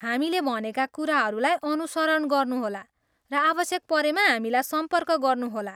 हामीले भनेका कुराहरूलाई अनुसरण गर्नुहोला र आवश्यक परेमा हामीलाई सम्पर्क गर्नुहोला।